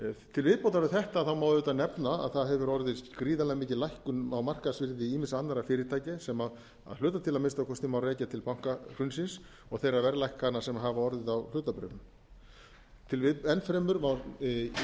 til viðbótar við þetta má auðvitað nefna að það hefur orðið gríðarlega mikil lækkun á markaðsvirði ýmissa annarra fyrirtækja sem að hluta til að minnsta kosti má rekja til bankahrunsins og þeirra verðlækkana sem hafa orðið á hlutabréfum enn fremur má vekja